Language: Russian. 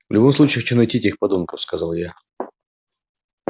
в любом случае хочу найти этих подонков сказал я